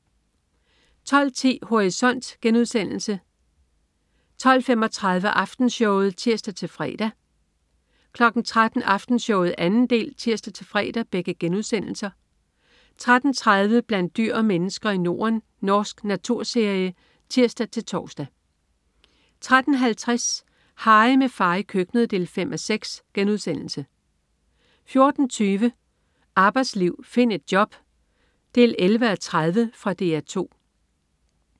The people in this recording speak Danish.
12.10 Horisont* 12.35 Aftenshowet* (tirs-fre) 13.00 Aftenshowet 2. del* (tirs-fre) 13.30 Blandt dyr og mennesker i Norden. Norsk naturserie (tirs-tors) 13.50 Harry, med far i køkkenet 5:6* 14.20 Arbejdsliv. Find et job! 11:30. Fra DR2